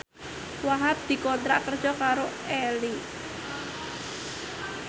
Wahhab dikontrak kerja karo Elle